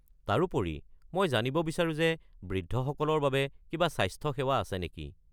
তাৰোপৰি, মই জানিব বিচাৰোঁ যে বৃদ্ধসকলৰ বাবে কিবা স্বাস্থ্য সেৱা আছে নেকি?